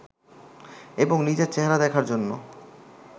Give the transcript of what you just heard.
এবং নিজের চেহারা দেখার জন্য